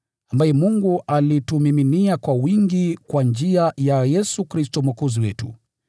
ambaye Mungu alitumiminia kwa wingi kwa njia ya Yesu Kristo Mwokozi wetu,